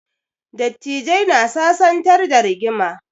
Dattijai na sasantar da rigima